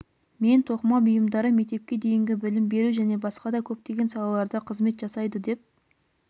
мен тоқыма бұйымдары мектепке дейінгі білім беру және басқа да көптеген салаларда қызмет жасайды деп